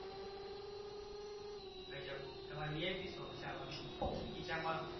ગજબ તમારે VIP શોખ છે આવા ભી ખિચામાં